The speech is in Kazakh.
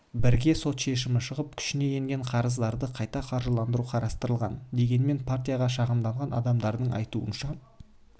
бірге сот шешімі шығып күшіне енген қарыздарды қайта қаржыландыру қарастырылған дегенмен партияға шағымданған адамдардың айтуынша